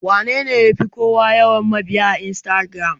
Wanene yafi kowa yawan mabiya a Instagiram?